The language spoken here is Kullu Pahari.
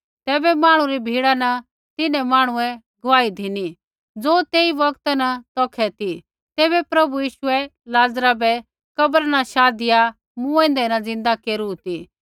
तैबै मांहणु री भिड़ा न तिन्हैं मांहणुऐ गुआही धिनी ज़ो तेई बौगता न तौखै ती ज़ैबै प्रभु यीशुऐ लाज़रा बै कब्रा न शाधिया मूँऐंदै न ज़िन्दा केरू ती